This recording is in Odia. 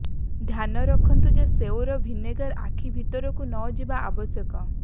ଧ୍ୟାନ ରଖନ୍ତୁ ଯେ ସେଓର ଭିନେଗାର ଆଖି ଭିତରକୁ ନଯିବା ଆବଶ୍ୟକ